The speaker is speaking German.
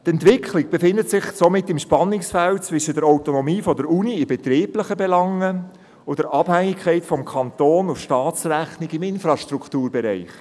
Die Entwicklung befindet sich somit im Spannungsfeld zwischen der Autonomie der Universität in betrieblichen Belangen und der Abhängigkeit vom Kanton und von der Staatsrechnung im Infrastrukturbereich.